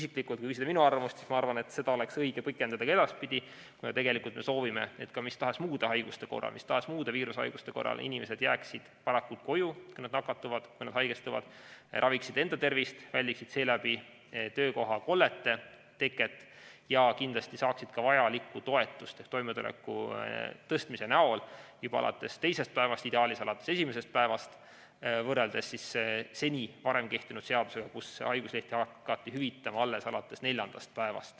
Kui küsida minu arvamust, siis mina arvan, et seda oleks õige pikendada ka edaspidi, kuna tegelikult me soovime, et ka mis tahes muude haiguste korral, mis tahes muude viirushaiguste korral inimesed jääksid varakult koju, kui nad on nakatunud ja haigestunud, et nad raviksid enda tervist, väldiksid seeläbi töökohakollete teket ja kindlasti saaksid ka vajalikku toetust juba alates teisest päevast, ideaalis alates esimesest päevast võrreldes seni kehtinud seadusega, mille järgi haiguslehti hakati hüvitama alles alates neljandast päevast.